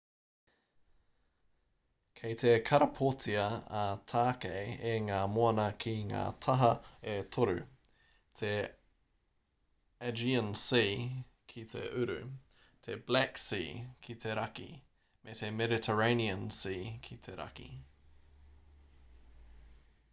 kei te karapotia a tākei e ngā moana ki ngā taha e toru te aegean sea ki te uru te black sea ki te raki me te mediterranean sea ki te raki